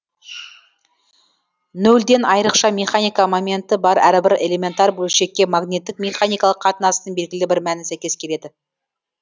нөлден айрықша механика моменті бар әрбір элементар бөлшекке магниттік механикалық қатынастың белгілі бір мәні сәйкес келеді